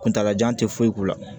Kuntaala jan tɛ foyi k'u la